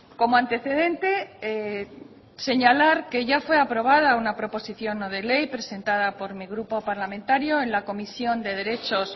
como antecedente señalar que ya fue aprobada una proposición no de ley presentada por mi grupo parlamentario en la comisión de derechos